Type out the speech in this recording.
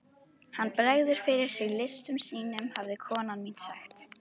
Hann bregður fyrir sig listum sínum hafði kona mín sagt.